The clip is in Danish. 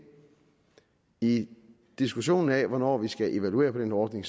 i diskussionen af hvornår vi skal evaluere den ordning